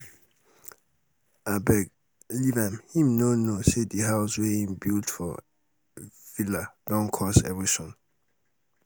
abeg leave um am him no know um say di house wey im um build for build for villa don cause erosion.